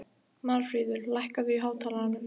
Marfríður, lækkaðu í hátalaranum.